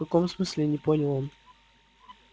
в каком смысле не понял он